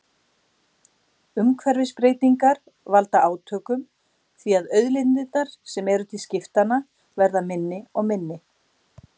Umhverfisbreytingar valda átökum því að auðlindirnar sem eru til skiptanna verða minni og minni.